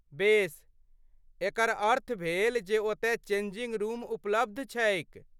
बेस, एकर अर्थ भेल जे ओतय चेंजिंग रूम उपलब्ध छैक।